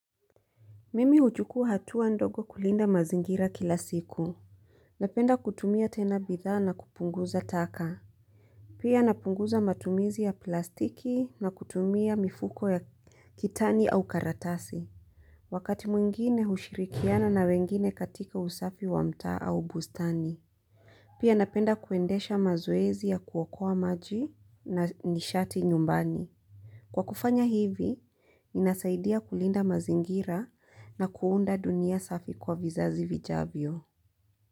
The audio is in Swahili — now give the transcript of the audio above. Mimi huchukua hatua ndogo kulinda mazingira kila siku. Napenda kutumia tena bidhaa na kupunguza taka. Pia napunguza matumizi ya plastiki na kutumia mifuko ya kitani au karatasi. Wakati mwingine hushirikiana na wengine katika usafi wa mtaa au bustani. Pia napenda kuendesha mazoezi ya kuokoa maji na nishati nyumbani. Kwa kufanya hivi, ninasaidia kulinda mazingira na kuunda dunia safi kwa vizazi vijavyo.